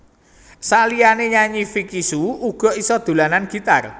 Saliyané nyanyi Vicky Shu uga isa dolanan gitar